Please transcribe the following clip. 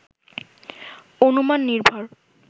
অনুমান নির্ভর